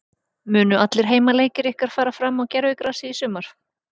Munu allir heimaleikir ykkar fara fram á gervigrasi í sumar?